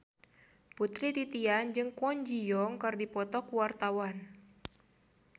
Putri Titian jeung Kwon Ji Yong keur dipoto ku wartawan